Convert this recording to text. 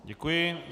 Děkuji.